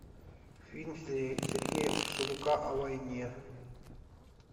фильм сергея урсуляка о войне